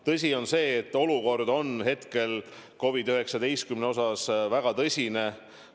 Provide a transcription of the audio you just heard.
Tõsi on see, et olukord COVID-19 osas on väga tõsine.